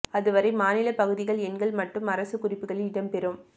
அதுவரை மாநிலப் பகுதிகள் எண்கள் மட்டும் அரசுக் குறிப்புகளில் இடம் பெறும்